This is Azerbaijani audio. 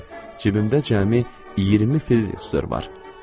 Cibimdə cəmi 20 florin var.